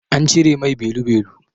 An cire mai belu-belu.